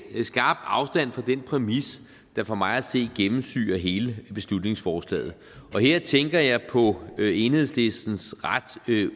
skarpt afstand fra den præmis der for mig at se gennemsyrer hele beslutningsforslaget her tænker jeg på enhedslistens ret